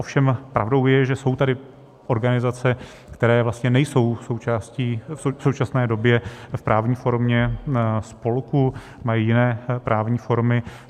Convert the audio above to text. Ovšem pravdou je, že jsou tady organizace, které vlastně nejsou v současné době v právní formě spolku, mají jiné právní formy.